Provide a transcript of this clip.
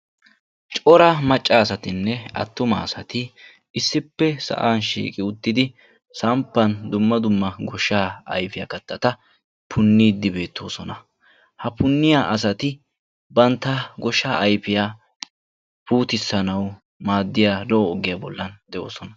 corra macca assatine attuma assati issipe uttidi samppan dumma dumma kattata puniidi de"ossona ha punniya assati bantta goshsha ayfiya puutissanauw maadiya lo"oo ogiyaa bollani de"oossona.